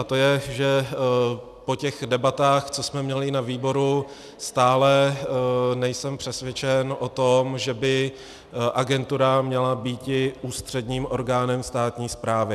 A to je, že po těch debatách, co jsme měli na výboru, stále nejsem přesvědčen o tom, že by agentura měla být ústředním orgánem státní správy.